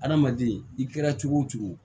Adamaden i kɛra cogo o cogo